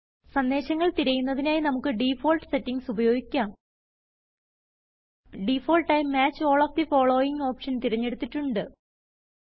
സന്ദേശങ്ങൾ തിരയുന്നതിനായി നമ്മുക്ക് ഡിഫാൾട്ട് സെറ്റിംഗ്സ് ഉപയോഗിക്കാം ഡിഫാൾട്ടായി match all of the following option തിരഞ്ഞെടുത്തിട്ടുണ്ട്